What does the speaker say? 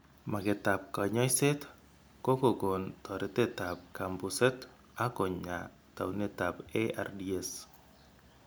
Magetab kanyoiset ko kokon toretetab kambuset ak konya taunetab ARDS .